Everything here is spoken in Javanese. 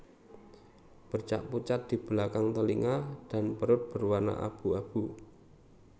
Bercak pucat di belakang telinga dan perut berwarna abu abu